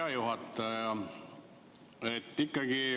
Hea juhataja!